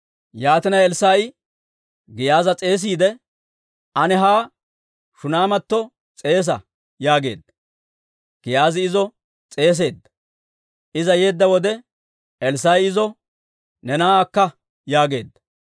Yaatina Elssaa'i Giyaaza s'eesiide, «Ane ha Shuneematto s'eesa» yaageedda. Giyaazi izo s'eeseedda. Iza yeedda wode, Elssaa'i izo, «Ne na'aa akka» yaageedda.